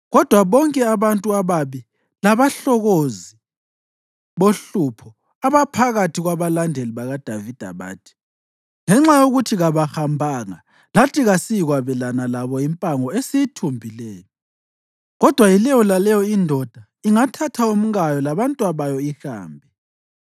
Kodwa bonke abantu ababi labahlokozi bohlupho abaphakathi kwabalandeli bakaDavida, bathi, “Ngenxa yokuthi kabahambanga lathi kasiyikwabelana labo impango esiyithumbileyo. Kodwa yileyo laleyo indoda ingathatha umkayo labantwabayo ihambe.”